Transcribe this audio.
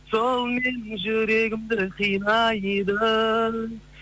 сол менің жүрегімді қинайды